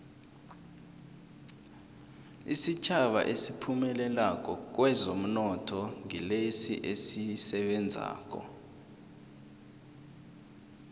isitjhaba esiphumelelako kwezomnotho ngilesi esisebenzako